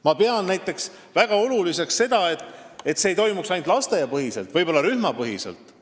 Ma pean näiteks väga oluliseks seda, et see ei toimuks ainult lasteaiapõhiselt, vaid võib-olla ka rühmapõhiselt.